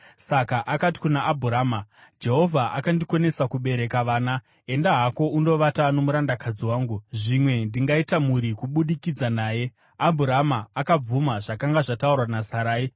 saka akati kuna Abhurama, “Jehovha akandikonesa kubereka vana. Enda hako undovata nomurandakadzi wangu; zvimwe ndingaita mhuri kubudikidza naye.” Abhurama akabvuma zvakanga zvataurwa naSarai.